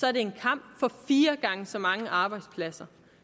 er det en kamp for fire gange så mange arbejdspladser